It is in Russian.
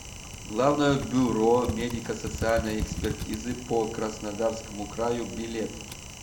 главное бюро медико социальной экспертизы по краснодарскому краю билет